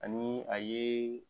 Ani a ye